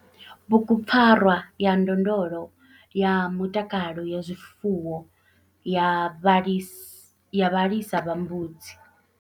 Bugupfarwa ya ndondolo ya mutakalo ya zwifuwo ya vhalisi ya vhalisa vha mbudzi.